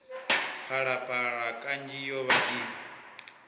phalaphala kanzhi yo vha i